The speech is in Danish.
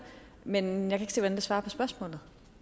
men jeg kan hvordan det svarer på spørgsmålet